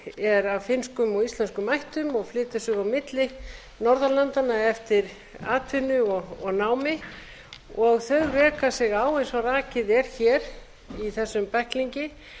er af finnskum og íslenskum ættum og flytur sig á milli norðurlandanna eftir atvinnu og námi þau reka sig á eins og rakið er hér í þessum bæklingi